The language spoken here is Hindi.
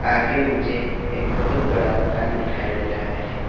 आगे मुझे एक बहुत बड़ा दुकान दिखाई दे रहा है।